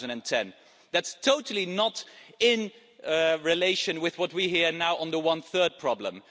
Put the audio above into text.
2010. That's totally not in relation with what we hear now on the one third problem.